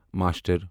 master